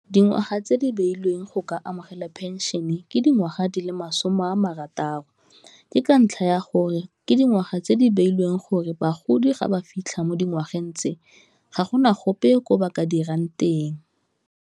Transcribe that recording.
Dingwaga tse di beilweng go ka amogela phenšene ke dingwaga di le masome a marataro, ke ka ntlha ya gore ke dingwaga tse di beilweng gore bagodi ga ba fitlha mo dingwageng tse ga gona gope ko ba ka dirang teng.